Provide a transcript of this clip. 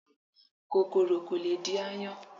kòkòrò ko le di aáyán.